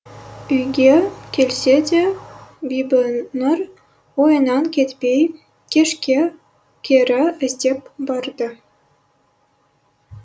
үйге келсе де бибінұр ойынан кетпей кешке кері іздеп барды